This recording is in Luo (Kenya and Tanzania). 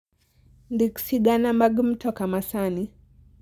ndik sigana mag mtoka ma sani